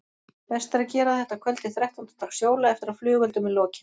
Best er að gera þetta að kvöldi þrettánda dags jóla eftir að flugeldum er lokið.